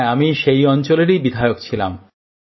হ্যাঁ আমি সেই অঞ্চলেরই বিধায়ক ছিলাম